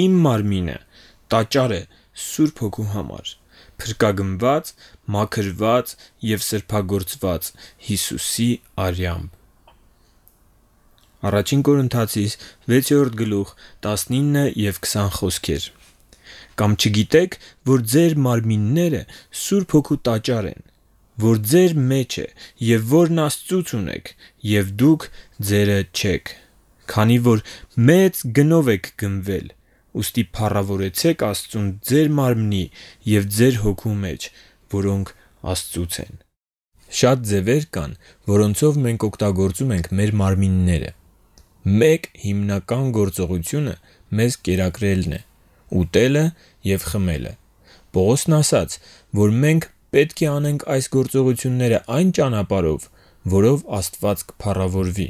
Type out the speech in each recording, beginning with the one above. Իմ մարմինը տաճար է Սուրբ Հոգու համար՝ փրկագնված, մաքրված և սրբագործված Հիսուսի արյամբ: «Կամ չգիտե՞ք, որ ձեր մարմինները Սուրբ Հոգու տաճար են, որ ձեր մեջ է, և որն Աստծուց ունեք, և դուք ձեր չեք: Քանի որ մեծ գնով եք գնվել, ուստի փառավորեցե՛ք Աստծուն ձեր մարմնի և ձեր հոգու մեջ, որոնք Աստծունն են»։ 1-ին Կորնթացիներին 6:19-20 Շատ ճանապարհներ կան, որոնցում մենք օգտագործում ենք մեր մարմինները։ Մեկ հիմնական գործողությունը մեզ կերակրելն է՝ ուտելը և խմելը։ Պողոսն ասաց, որ մենք պետք է անենք այս գործողությունները այն ճանապարհով, որով Աստված կփառավորվի.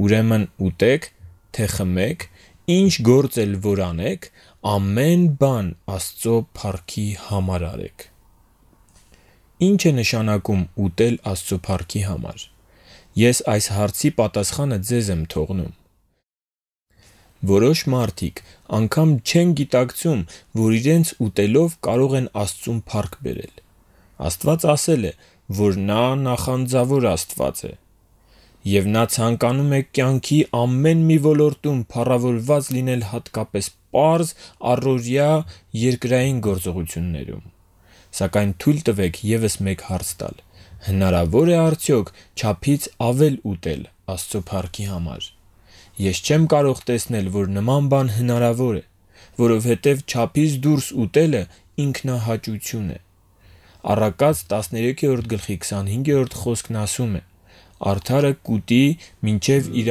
«Ուրեմն ուտեք, թե խմեք, ինչ գործ էլ որ անեք, ամեն բան Աստծո փառքի համար արեք»։ 1-ին Կորնթացիներին 10:31 Ի՞նչ է նշանակում ուտել Աստծո փառքի համար։ Ես այս հարցի պատասխանը ձեզ եմ թողնում։ Որոշ մարդիկ անգամ չեն գիտակցում, որ իրենց ուտելով կարող են Աստծուն փառք բերել։ Աստված ասել է, որ Նա նախանձավոր Աստված է (տե՛ս Ելից 34:14) և Նա ցանկանում է կյանքի ամեն մի ոլորտում փառավորված լինել՝ հատկապես պարզ, առօրյա, երկրային գործողություններում։ Սակայն թույլ տվեք ևս մեկ հարց տալ. հնարավո՞ր է արդյոք չափից ավել ուտել Աստծո փառքի համար։ Ես չեմ կարող տեսնել, որ նման բան հնարավոր է, որովհետև չափից դուրս ուտելը ինքնահաճություն է։ Առակաց 13:25-ն ասում է. «Արդարը կուտի մինչև իր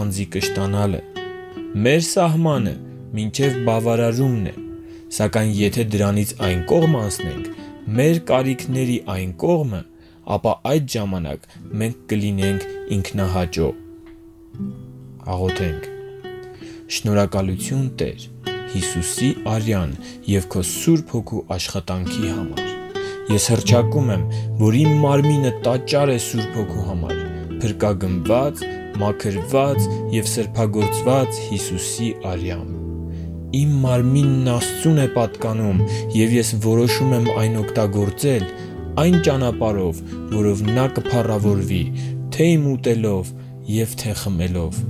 անձի կշտանալը»։ Մեր սահմանը մինչև բավարարումն է, սակայն եթե դրանից այն կողմն անցնեք՝ մեր կարիքի այն կողմը, ապա այդ ժամանակ մենք կլինենք ինքնահաճո։ Շնորհակալությու՛ն, Տե՛ր, Հիսուսի արյան և Քո Սուրբ Հոգու աշխատանքի համար։ Ես հռչակում եմ, որ իմ մարմինը տաճար է Սուրբ Հոգու համար՝ փրկագնված, մաքրված և սրբագործված Հիսուսի արյամբ։ Իմ մարմինն Աստծուն է պատկանում, և ես որոշում եմ այն օգտագործել այն ճանապարհով, որով Նա կփառավորվի՝ իմ ուտելով և խմելով։